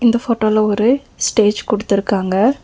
இந்த போட்டோல ஒரு ஸ்டேஜ் குடுத்துருக்காங்க.